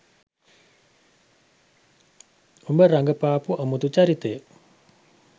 ඔබ රඟපාපු අමුතු චරිතය